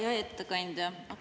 Hea ettekandja!